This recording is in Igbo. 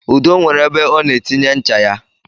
Udo nwere ebe ọ na-etinye ncha ya